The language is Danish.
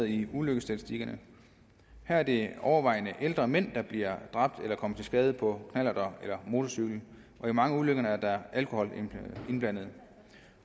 i ulykkesstatistikkerne her er det overvejende ældre mænd der bliver dræbt eller kommer til skade på knallert eller motorcykel og i mange af ulykkerne er der alkohol indblandet